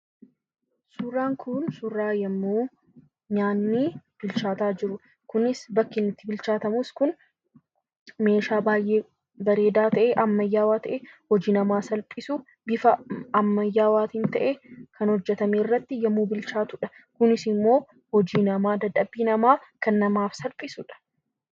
Suuraan kun, suuraa yemmuu nyaanni bilchaata jirudha. Kunis bakki inni bilchatamu kun meeshaa baay'ee bareeda ta'e, ammayyaawaa ta'e, hojii namaa salphisu bifa ammayyawwaatiin ta'e kan hojjetame irratti yemmuu bilchatudha. Kunis immoo hojii nama dadhabii nama kan namaaf salphisudha.